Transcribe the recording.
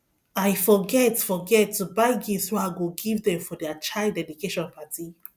i forget forget to buy gift wey i go give dem for their child dedication party